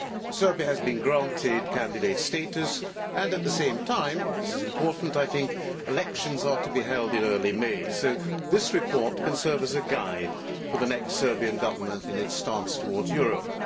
Serbia has been granted candidate status, and at the same time this is important elections are to be held in early May. So this report can serve as a guide for the next Serbian Government in its stance towards Europe.